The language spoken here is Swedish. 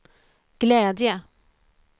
glädje